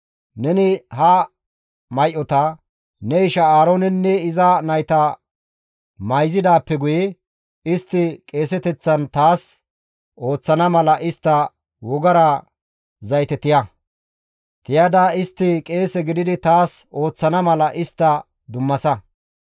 Neni ha may7ota ne isha Aaroonenne iza nayta mayzidaappe guye, istti qeeseteththan taas ooththana mala istta wogara zayte tiya; tiyada istti qeese gididi taas ooththana mala istta dummasa.